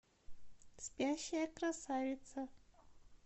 спящая красавица